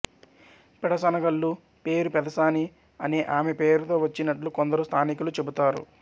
పెడసనగల్లు పేరు పెదసాని అనే ఆమె పేరుతో వచ్చినట్లు కొందరు స్థానికులు చెబుతారు